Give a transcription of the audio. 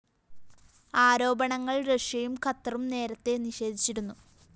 ആരോപണങ്ങള്‍ റഷ്യയും ഖത്തറും നേരത്തെ നിഷേധിച്ചിരുന്നു